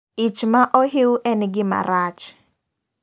Ich ma ohiu en gima rach.